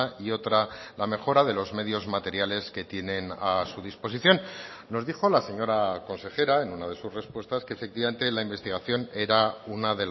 y otra la mejora de los medios materiales que tienen a su disposición nos dijo la señora consejera en una de sus respuestas que efectivamente la investigación era una